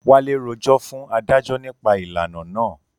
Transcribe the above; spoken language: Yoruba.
Wálé rojọ́ fún adájọ́ nípa ìlànà naa